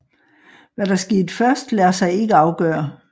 Hvad der skete først lader sig ikke afgøre